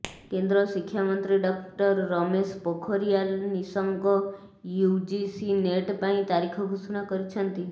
କେନ୍ଦ୍ର ଶିକ୍ଷା ମନ୍ତ୍ରୀ doctor Ramesh Pokhriyal Nishank UGC NET ପାଇଁ ତାରିଖ ଘୋଷଣା କରିଛନ୍ତି